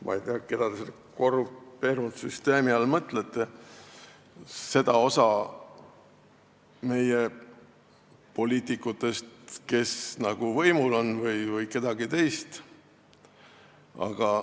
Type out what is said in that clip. Ma ei tea, keda te selle korrumpeerunud süsteemi all mõtlete, kas seda osa meie poliitikutest, kes on võimul, või kedagi teist.